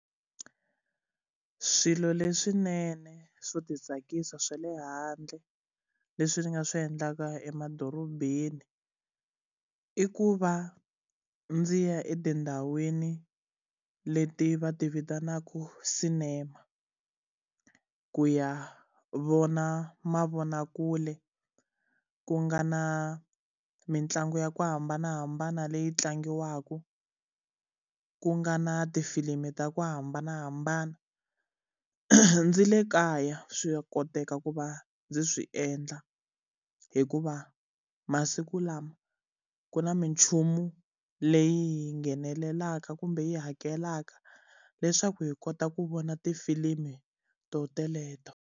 Swilo leswinene swo ti tsakisa swa le handle leswi ni nga swi endlaka emadorobeni, i ku va ndzi ya etindhawini leti va ti vitanaka sinema, ku ya vona mavonakule ku nga na mitlangu ya ku hambanahambana leyi tlangiwaka, ku nga na tifilimu ta ku hambanahambana. Ni le kaya, swa koteka ku va ndzi swi endla, hikuva masiku lama ku na minchumu leyi hi nghenelelaka kumbe hi hakelaka leswaku hi kota ku vona tifilimi tona teleto.